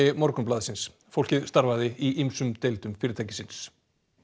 Morgunblaðsins fólkið starfaði í ýmsum deildum fyrirtækisins